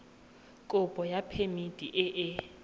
kopo ya phemiti e e